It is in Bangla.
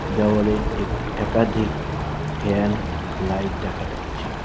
দেওয়ালে এক একাধিক ফ্যান লাইট দেখা যাচ্ছে।